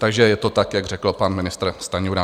Takže je to tak, jak řekl pan ministr Stanjura.